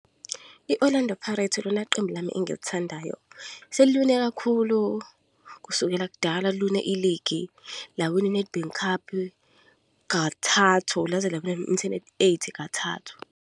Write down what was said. I-Orlando Pirates ilona qembu lami engilithandayo. Seliwine kakhulu, kusukela kudala liwina i-league, lawina i-Nedbank Cup kathathu. Laze lawina i-M_T_N eight kathathu.